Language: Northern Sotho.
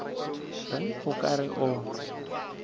reng o ka re o